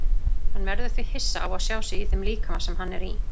Hann verður því hissa á að sjá sig í þeim líkama sem hann er í.